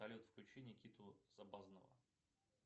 салют включи никиту сабазнова